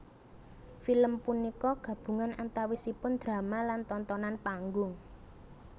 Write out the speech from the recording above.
Film punika gabungan antawisipun drama lan tontonan panggung